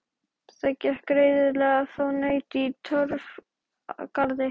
Það gekk greiðlega að fá naut í Torfgarði.